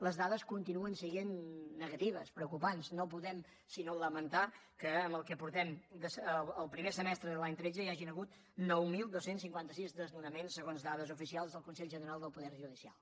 les dades continuem sent negatives preocupants no podem sinó lamentar que el primer semestre de l’any tretze hi hagin hagut nou mil dos cents i cinquanta sis desnonaments segons dades oficials del consell general del poder judicial